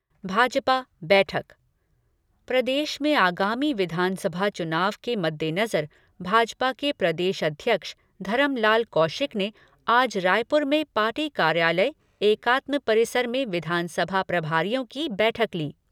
भाजपा बैठक प्रदेश में आगामी विधानसभा चुनाव के मद्देनजर भाजपा के प्रदेश अध्यक्ष धरमलाल कौशिक ने आज रायपुर में पार्टी कार्यालय एकात्म परिसर में विधानसभा प्रभारियों की बैठक ली।